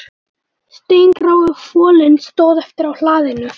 Steingrái folinn stóð eftir á hlaðinu